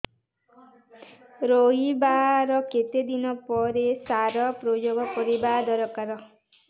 ରୋଈବା ର କେତେ ଦିନ ପରେ ସାର ପ୍ରୋୟାଗ କରିବା ଦରକାର